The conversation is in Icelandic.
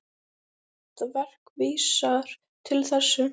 Þetta verk vísar til þess.